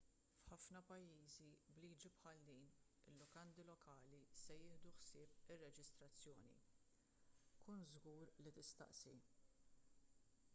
f’ħafna pajjiżi b’liġi bħal din il-lukandi lokali se jieħdu ħsieb ir-reġistrazzjoni kun żgur li tistaqsi